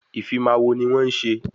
Ìfimawo ni wọ́n ń ṣe